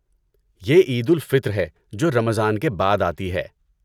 یہ عید الفطر ہے، جو رمضان کے بعد آتی ہے۔